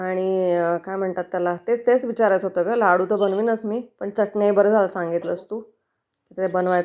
आणि काय म्हणतात त्याला तेच विचारायचं होत.. लाडू तर बनविनच मी....चटण्या ही बर झाल सांगितलस तू